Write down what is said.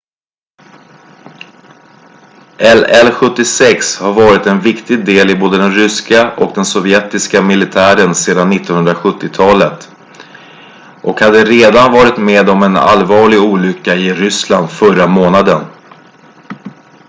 il-76 har varit en viktig del i både den ryska och den sovjetiska militären sedan 1970-talet och hade redan varit med om en allvarlig olycka i ryssland förra månaden